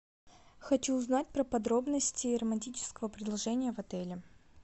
хочу узнать про подробности романтического предложения в отеле